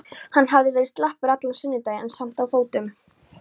Hann hafði verið slappur allan sunnudaginn en samt á fótum.